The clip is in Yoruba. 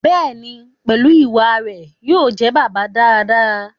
Bẹ́ẹ̀ni, pẹ̀lú ìwà rẹ̀, yóò jẹ́ bàbá dáadáa